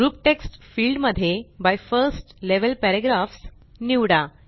group text field मध्ये by first level paragraphs निवडा